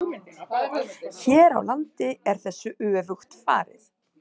Hér á landi er þessu öfugt farið.